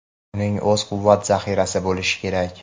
Uning o‘z quvvat "zaxirasi" bo‘lishi kerak.